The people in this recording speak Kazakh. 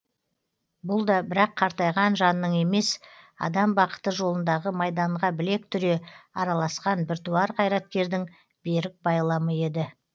бұл да бірақ қартайған жанның емес адам бақыты жолындағы майданға білек түре араласқан біртуар қайраткердің берік байламы еді